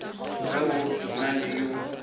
ge go na le yo